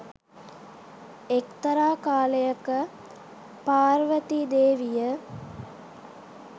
එක්තරා කාලයක පාර්වතී දේවිය